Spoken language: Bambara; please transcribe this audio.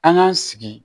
An k'an sigi